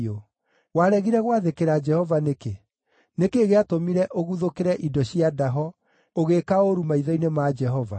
Waregire gwathĩkĩra Jehova nĩkĩ? Nĩ kĩĩ gĩatũmire ũguthũkĩre indo cia ndaho, ũgĩĩka ũũru maitho-inĩ ma Jehova?”